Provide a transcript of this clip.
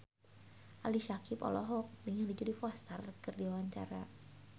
Ali Syakieb olohok ningali Jodie Foster keur diwawancara